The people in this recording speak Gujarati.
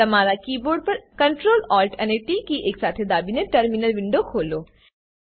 તમારા કીબોર્ડ પર Ctrl Alt અને ટી કી એકસાથે દાબીને ટર્મિનલ વિન્ડો ખોલો